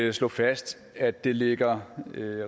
at slå fast at det ligger